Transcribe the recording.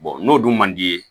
n'o dun man d'i ye